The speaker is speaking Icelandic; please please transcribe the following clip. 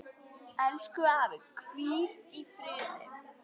Elsku afi, hvíl í friði.